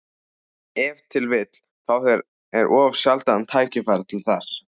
Ef til vill fá þeir of sjaldan tækifæri til þess.